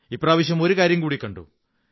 ഇപ്രാവശ്യം ഒരു കാര്യംകൂടി കണ്ടു